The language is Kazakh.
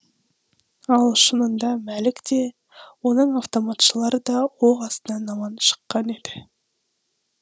ал шынында мәлік те оның автоматшылары да оқ астынан аман шыққан еді